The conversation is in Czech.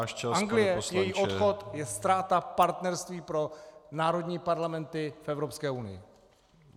Anglie, její odchod, je ztráta partnerství pro národní parlamenty v Evropské unii.